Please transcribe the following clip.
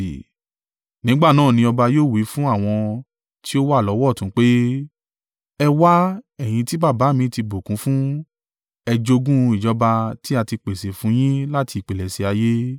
“Nígbà náà ni ọba yóò wí fún àwọn tí ó wà lọ́wọ́ ọ̀tún pé, ‘Ẹ wá, ẹ̀yin tí Baba mi ti bùkún fún, ẹ jogún ìjọba tí a ti pèsè fún yín láti ìpilẹ̀ṣẹ̀ ayé.